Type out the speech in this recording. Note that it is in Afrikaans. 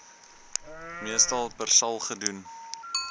meestal persal gedoen